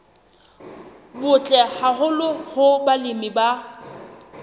butle haholo hoo balemi ba